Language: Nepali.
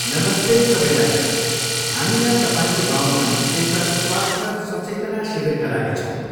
नमस्ते सबैजना, हामी यहाँ तपाईँको गाउँमा एउटा स्वास्थ्य सचेतना शिविरका लागि छौँ।